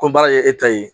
Ko baara kɛ e ta ye